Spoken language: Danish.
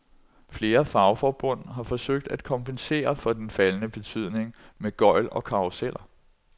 Flere fagforbund har forsøgt at kompensere for den faldende betydning med gøgl og karruseller.